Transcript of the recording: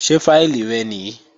Ṣé fáìlì rẹ nìí?